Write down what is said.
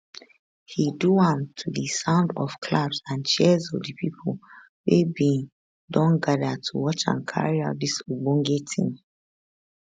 he do am to di sound of claps and cheers of di pipo wey bin don gada to watch am carry out dis ogbonge tin